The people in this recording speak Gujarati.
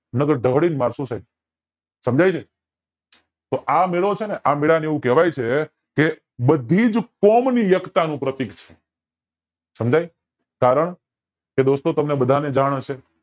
નય તર ધોડી ને મારસુ સાયબ સમજાય છે તો આ મેળો છે ને આ મેળા ને એવું કેવાય છે બધી જ કોમ ની એકતાનું પ્રતીક છે સમજાય કારણ કે દોસ્તો તમને બધા ને જાણ હશે